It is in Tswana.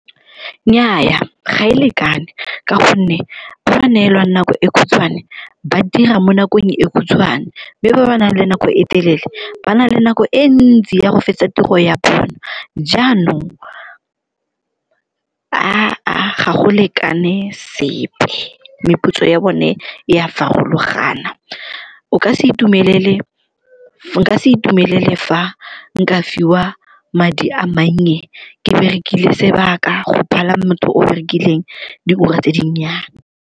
Nnyaa, ga e lekane ka gonne ba ba neelwang nako e khutshwane ba dira mo nakong e khutshwane mme ba ba nang le nako e telele ba na le nako e ntsi ya go fetsa tiro ya bona, jaanong ga go lekane sepe. Meputso ya bone e a farologana, nka se itumelele fa nka fiwa madi a mannye ke berekile sebaka go phala motho o berekileng diura tse dinnyane.